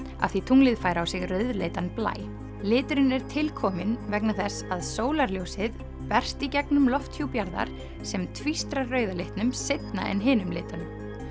af því tunglið fær á sig rauðleitan blæ liturinn er til kominn vegna þess að sólarljósið berst í gegnum lofthjúp jarðar sem tvístrar rauða litnum seinna en hinum litunum